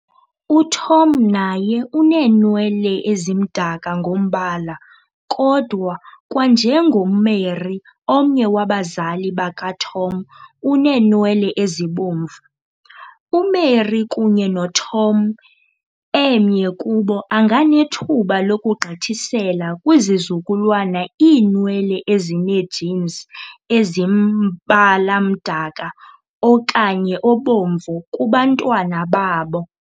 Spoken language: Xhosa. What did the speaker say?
UTom naye uneenwele ezimdaka ngobala, kodwa kwanjengoMary omnye wabazali bakaTom uneenwele ezibomvu. UMary kunye noTom emnye kubo anganethuba lokugqithisela kwizizukulwana iinwele ezinee-genes ezimbala mdaka okanye obomvu kubantwana babo.